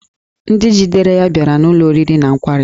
Ndị jidere ya bịara n'ụlọ oriri na nkwari